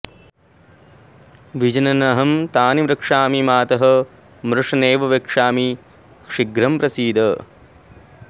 विजनन्नहं तानि रक्षामि मातः मृष नैव वक्ष्यामि शीघ्रं प्रसीद